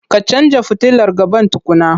Ka canja futilar gaban tukunna.